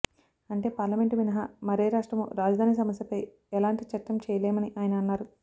అంటే పార్లమెంటు మినహా మరే రాష్ట్రమూ రాజధాని సమస్యపై ఎలాంటి చట్టం చేయలేమని ఆయన అన్నారు